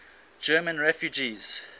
german refugees